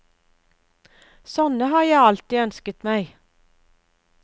Sånne har jeg alltid ønsket meg.